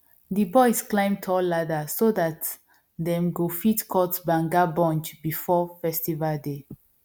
di boys climb tall ladder so dat dem go fit cut banga bunch before festival day